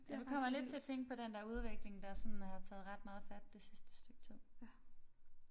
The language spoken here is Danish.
Jeg kommer lidt til at tænke på den der udvikling der sådan har taget ret meget fat det sidste stykke tid